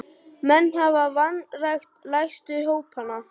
Menn hafa vanrækt lægstu hópana.